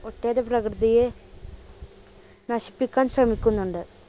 പ്രകൃതിയെ നശിപ്പിക്കാൻ ശ്രമിക്കുന്നുണ്ട്.